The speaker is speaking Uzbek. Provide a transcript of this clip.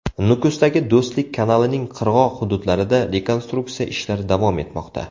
Nukusdagi Do‘stlik kanalining qirg‘oq hududlarida rekonstruksiya ishlari davom etmoqda.